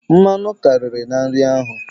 Mmanụ karịrị na nri ahụ.